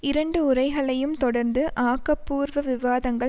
இரண்டு உரைகளையும் தொடர்ந்து ஆக்கப்பூர்வ விவாதங்கள்